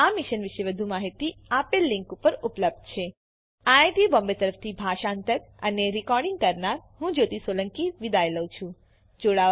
આ મિશન વિશે વધુ માહીતી આ લીંક ઉપર ઉપલબ્ધ છે spoken hyphen tutorial dot org slash NMEICT hyphen intro IIT Bombay તરફથી ભાષાંતર કરનાર હું જ્યોતી સોલંકી વિદાય લઉં છું